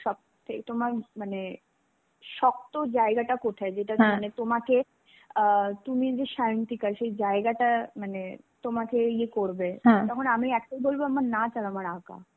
সবথেকে তোমার মানে শক্ত জায়গাটা কোথায়? যেটা তোমাকে আ তুমি সে জায়গাটা মানে তোমাকে ইয়ে করবে. তখন আমি একটাই বলবো আমার নাচ আর আমার আঁকা.